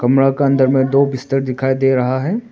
कमरा का अंदर में दो बिस्तर दिखाई दे रहा है।